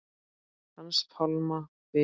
Hans Pálma Viðars.